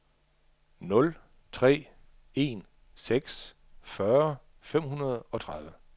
nul tre en seks fyrre fem hundrede og tredive